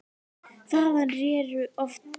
Þaðan réru oft tugir báta.